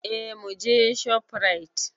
Eh muje shofrait